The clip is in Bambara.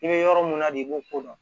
I bɛ yɔrɔ mun na de i b'o ko dɔn